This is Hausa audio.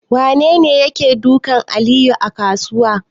Wanene yake dukan Aliyu a kasuwa?